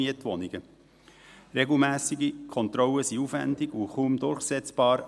Regelmässige Kontrollen sind aufwendig und kaum durchsetzbar.